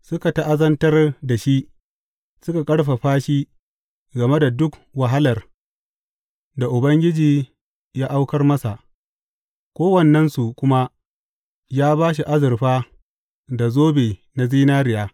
Suka ta’azantar da shi suka ƙarfafa shi game da duk wahalar da Ubangiji ya auka masa, kowannensu kuma ya ba shi azurfa da zobe na zinariya.